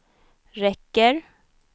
räcker